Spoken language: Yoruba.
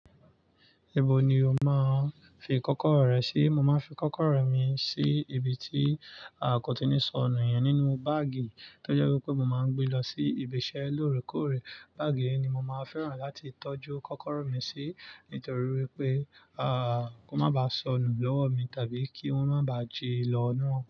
Ibo ni o máa ń fi kọ́kọ́rọ́ rẹ sí? Mo máa ń fi kọ́kọ́rọ́ mi sí ibi tí a kò tíì ní sọ nù yẹn nínú báàgì tó jẹ́ wipé mo máa ń gbé lọ sí ibi iṣẹ́ lóòrèkóòrè. Báàgì yìí ni mo máa fẹ́ràn láti tọ́jú kọ́kọ́rọ́ mi sí nítorí wípé, à, kó má ba sọnù lọ́wọ́ mi tàbí kí wọ́n má baà jí lọ inú.